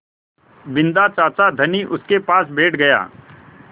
बिन्दा चाचा धनी उनके पास बैठ गया